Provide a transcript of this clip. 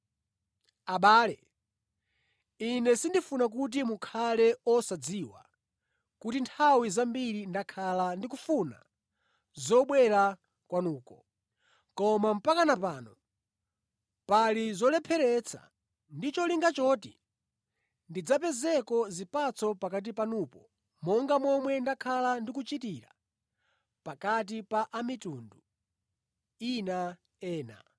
Abale, ine sindifuna kuti mukhale osadziwa kuti nthawi zambiri ndakhala ndikufuna zobwera kwanuko, koma mpaka pano pali zolepheretsa, ndi cholinga choti ndidzapezeko zipatso pakati panupo monga momwe ndakhala ndikuchitira pakati pa a mitundu ina.